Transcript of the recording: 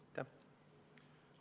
Aitäh!